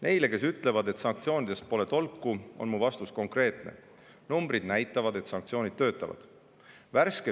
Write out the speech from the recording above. Neile, kes ütlevad, et sanktsioonidest pole tolku, on mu vastus konkreetne: numbrid näitavad, et sanktsioonid töötavad.